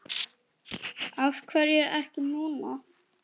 Af hverju ekki núna?